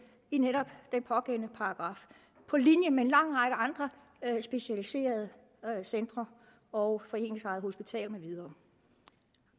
i netop den pågældende paragraf på linje med en lang række andre specialiserede centre og foreningsejede hospitaler med videre